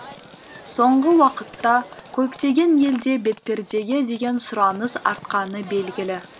соңғы уақытта көптеген елде бетпердеге деген сұраныс артқаны белгілі